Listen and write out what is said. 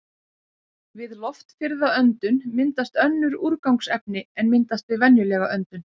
Við loftfirrða öndun myndast önnur úrgangsefni en myndast við venjulega öndun.